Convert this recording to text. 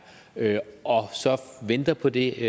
er og så venter på det